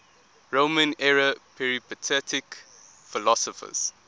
roman era peripatetic philosophers